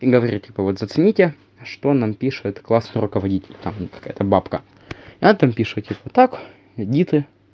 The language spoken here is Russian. говорит типа вот зацените что нам пишет классный руководитель там какая то бабка на этом пишут так идите